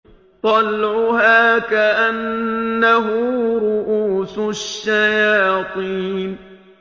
طَلْعُهَا كَأَنَّهُ رُءُوسُ الشَّيَاطِينِ